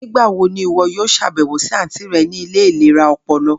Nigbawo ni iwọ yoo ṣabẹwo si anti rẹ ni ile ilera ọpọlọ?